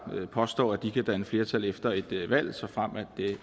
påstår de kan danne flertal efter et valg såfremt